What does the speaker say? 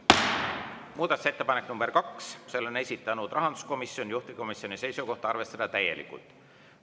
Muudatusettepaneku nr 2 on esitanud rahanduskomisjon, juhtivkomisjoni seisukoht on, et arvestada täielikult.